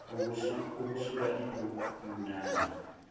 ukusula ipu ani